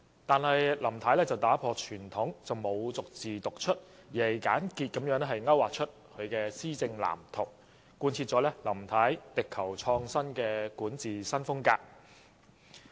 不過，林太打破傳統，沒有逐字讀出，而只是簡潔地勾劃出她的施政藍圖，貫徹她力求創新的管治風格。